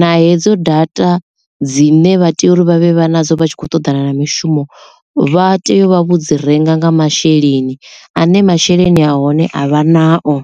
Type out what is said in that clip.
na hedzo data dzine vha tea uri vha vhe vha nadzo vha tshi khou ṱoḓana na mishumo vha tea u vha vho dzi renga nga masheleni ane masheleni a hone a vha nao.